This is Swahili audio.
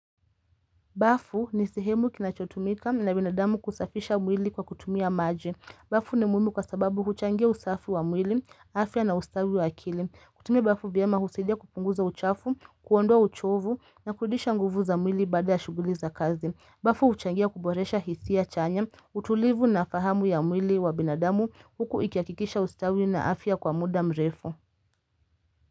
Bafu ni sehemu kinachotumika na binadamu kusafisha mwili kwa kutumia maji. Bafu ni muhimu kwa sababu huchangia usafi wa mwili, afya na ustawi wa akili. Kutumia bafu vyema husaidia kupunguza uchafu, kuondoa.uchovu na kurudisha nguvu za mwili baada ya shuguli za kazi. Bafu huchangia kuboresha hisia chanya, utulivu na fahamu ya mwili wa binadamu huku ikiakikisha ustawi na afya kwa muda mrefu.